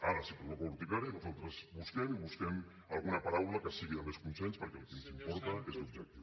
ara si provoca urticària nosaltres busquem i busquem alguna paraula que sigui de més consens perquè el que ens importa és l’objectiu